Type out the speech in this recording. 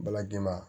Bala ganma